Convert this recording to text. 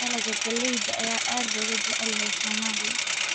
Dalagga galleyda ayaa aad looga jecel yahay Soomaaliya